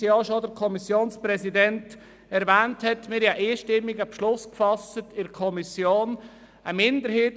Es wurde ja in der Kommission fast ein einstimmiger Beschluss gefasst, wie der Kommissionssprecher ausführte.